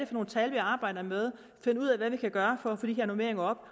for nogle tal vi arbejder med finde ud af hvad vi kan gøre for at få de her normeringer op